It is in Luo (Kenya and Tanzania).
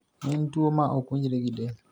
En tuo ma ok winjre gi del.